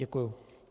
Děkuji.